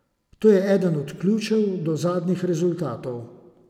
To je eden od ključev do zadnjih rezultatov.